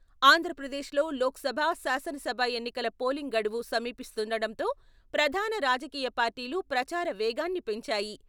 ఆంధ్రప్రదేశ్ లో లోక్ సభ, శాసనసభ ఎన్నికల పోలింగ్ గడువు సమీపిస్తుండటంతో ప్రధాన రాజకీయ పార్టీలు ప్రచార వేగాన్ని పెంచాయి.